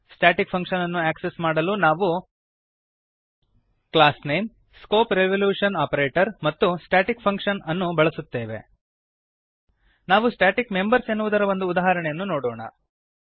static function ಅನ್ನು access ಮಾಡಲು ನಾವು classname160 ಸ್ಕೋಪ್ ರೆಸಲ್ಯೂಶನ್ ಆಪರೇಟರ್ ಮತ್ತು staticfunction ಇದನ್ನು ಬಳಸುತ್ತೇವೆ ನಾವು ಸ್ಟ್ಯಾಟಿಕ್ ಮೆಂಬರ್ಸ್ ಎನ್ನುವುದರ ಒಂದು ಉದಾಹರಣೆಯನ್ನು ನೋಡೋಣ